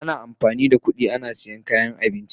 Ana amfani da kudi ana siyan kayan abinci.